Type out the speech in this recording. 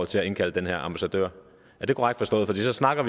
til at indkalde den her ambassadør er det korrekt forstået for vi snakker